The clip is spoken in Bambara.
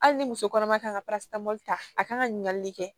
Hali ni muso kɔnɔma ka kan ka ta a kan ka ɲininkali kɛ